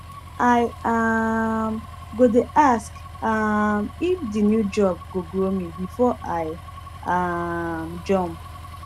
i um go dey ask um if the new job go grow me before i um jump